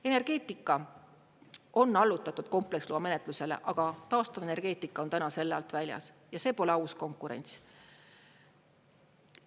Energeetika on allutatud kompleksloa menetlusele, aga taastuvenergeetika on täna selle alt väljas ja see pole aus konkurents.